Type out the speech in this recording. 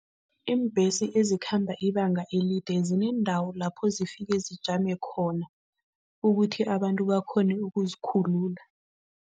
Iimbhesi ezikhamba ibanga elide zineendawo lapho zifike zijame khona, ukuthi abantu bakghone ukuzikhulula.